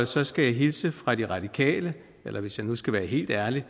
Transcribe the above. så skal jeg hilse fra de radikale eller hvis jeg skal være helt ærlig